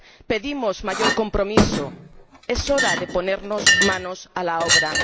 Pedimos mayor compromiso. Es hora de ponernos manos a la obra.